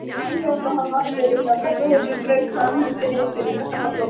Um leið og hann vatt sér inn á kaffihúsið strauk hann hendinni yfir dökkan hárflókann.